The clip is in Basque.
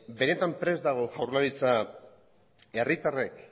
benetan prest dago jaurlaritza herritarrek